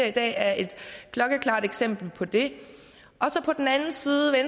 i dag er et klokkeklart eksempel på det på den anden side